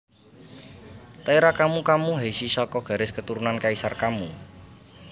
Taira Kammu Kammu Heishi saka garis keturunan Kaisar Kammu